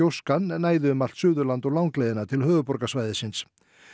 næði um allt Suðurland og langleiðina til höfuðborgarsvæðisins